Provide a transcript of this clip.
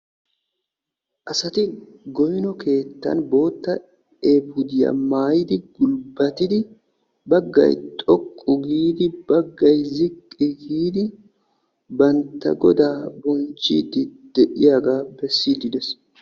Asati goynno keettan boottaa eefuudiya maayidi baggay xoqqu giidi baggay ziqqi giidi bantta Godaa bonchchiidi de'iyagaa bessiidi dees.